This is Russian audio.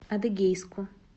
адыгейску